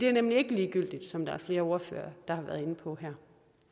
jo nemlig ikke ligegyldigt som der er flere ordførere der har været inde på her